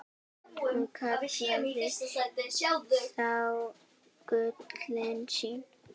Hún kallaði þá gullin sín.